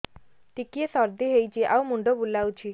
ଟିକିଏ ସର୍ଦ୍ଦି ହେଇଚି ଆଉ ମୁଣ୍ଡ ବୁଲାଉଛି